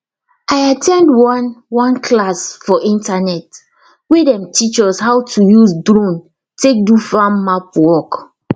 i at ten d one one class for internet wey dem teach us how to use drone take do farm map work